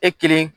E kelen